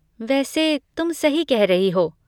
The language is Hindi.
वैसे तुम सही कह रही हो।